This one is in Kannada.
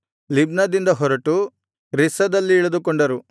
ಲಿಬ್ನದಿಂದ ಹೊರಟು ರಿಸ್ಸದಲ್ಲಿ ಇಳಿದುಕೊಂಡರು